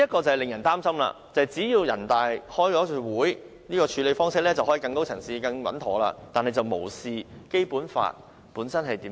這令人很擔心，因為只要人大常委會舉行一次會議，便可以更高層次、更穩妥地作出處理，但卻無視《基本法》的規定。